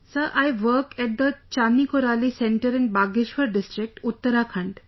Sir, I work at the Chaani Koraali Centre in Bageshwar District, Uttarakhand